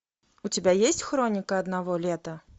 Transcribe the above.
у тебя есть хроника одного лета